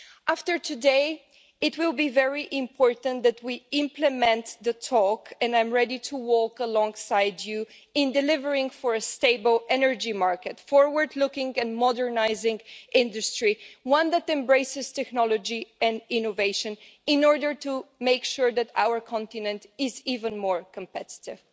After today, it will be very important that we implement the talk, and I'm ready to walk alongside you in delivering a stable energy market and a forward-looking and modernising industry, one that embraces technology and innovation in order to make sure that our continent is even more competitive.